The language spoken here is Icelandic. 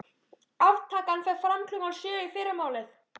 Aftakan fer fram klukkan sjö í fyrramálið.